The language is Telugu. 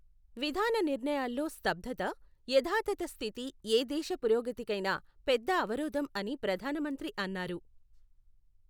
విధాన నిర్ణయాల్లో స్తబ్ధత, యథాతథ స్థితి ఏ దేశ పురోగతికైనా పెద్ద అవరోధం అని ప్రధానమంత్రి అన్నారు.